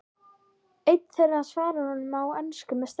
Einn þeirra svarar honum á ensku með sterk